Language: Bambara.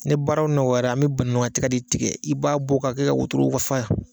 Ne baaraw nɔgɔyala, an bɛ banakunkan nɔgɔ de tigɛ i b'a bɔ k'a kɛ ka wotoro fa yan